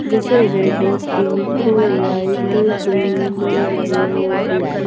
जैसे red pink white green yellow black --